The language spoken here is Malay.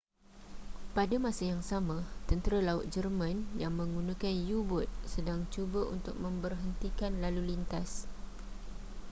pada masa yang sama tentera laut jerman yang menggunakan u-bot sedang cuba untuk mengberhentikan lalulintas